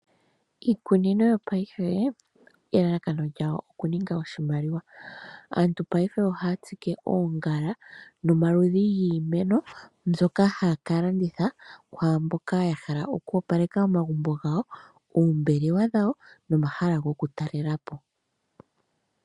Iikunino yopaife elalakano lyawo oku ninga oshimaliwa. Aantu paife ohaya tsike oongala nomaludhi giimeno mbyoka hayi kalandithwa kwaamboka ya hala oku opaleka omagumbo gawo, oombelewa dhawo nomahala gokutalelapo.